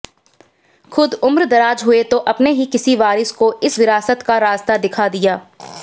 खुद उम्रदराज हुए तो अपने ही किसी वारिस को इस विरासत का रास्ता दिखा दिया